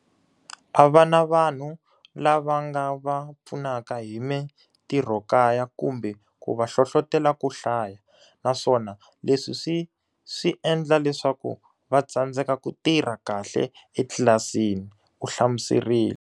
A va na vanhu lava nga va pfunaka hi mitirhokaya kumbe ku va hlohlotela ku hlaya, naswona leswi swi swi endla leswaku va tsandzeka ku tirha kahle etlilasini, u hlamuserile.